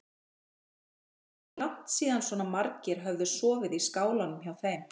Það var orðið langt síðan svona margir höfðu sofið í skálanum hjá þeim.